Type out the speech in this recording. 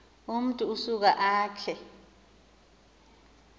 umntu usuka akhe